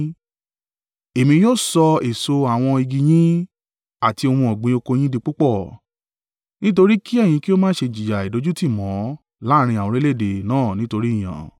Èmi yóò sọ èso àwọn igi yín àti ohun ọ̀gbìn oko yín di púpọ̀, nítorí kí ẹ̀yin kí ó má ṣe jìyà ìdójútì mọ́ láàrín àwọn orílẹ̀-èdè náà nítorí ìyàn.